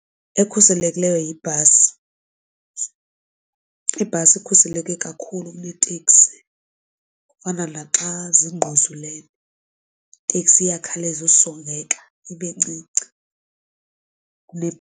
Ekhuselekileyo yibhasi, ibhasi ikhuseleke kakhulu kuneteksi, kufana naxa zingquzulene iteksi iyakhawuleza usongeka ibe ncinci .